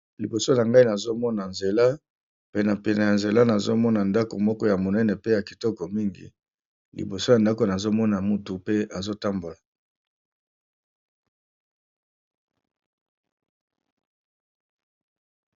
Liboso na ngai nazomona nzela pene pene ya nzela nazomona ndako moko ya monene pe ya kitoko mingi liboso ya ndako nazomona motu pe azo tambola.